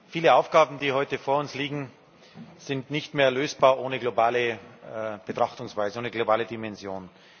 Viele Aufgaben, die heute vor uns liegen, sind nicht mehr lösbar ohne globale Betrachtungsweise, ohne globale Dimension.